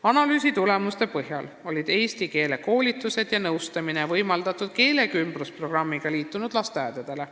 Analüüsi tulemuste põhjal võimaldati eesti keele koolitusi ja nõustamist keelekümblusprogrammiga liitunud lasteaedadele.